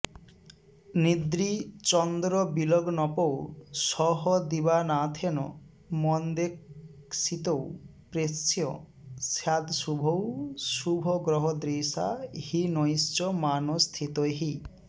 निद्री चन्द्रविलग्नपौ सह दिवानाथेन मन्देक्षितौ प्रेष्यः स्यादशुभैः शुभग्रहदृशा हीनैश्च मानस्थितैः